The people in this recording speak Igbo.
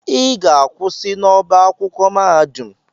Ị ga-akwụsị n'ọbá akwụkwọ mahadum!